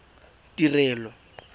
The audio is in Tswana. tirelo